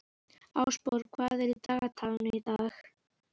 Ásborg, hvað er á dagatalinu í dag?